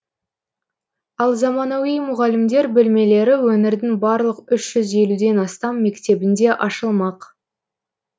ал заманауи мұғалімдер бөлмелері өңірдің барлық үш жүз елуден астам мектебінде ашылмақ